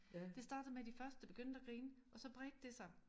Det startede med de første begyndte at grine og så spredte det sig